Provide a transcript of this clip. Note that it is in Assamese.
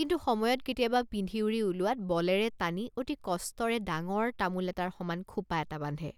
কিন্তু সময়ত কেতিয়াবা পিন্ধিউৰি ওলোৱাত বলেৰে টানি অতি কষ্টেৰে ডাঙৰ তামোল এটাৰ সমান খোপ৷ এটা বান্ধে।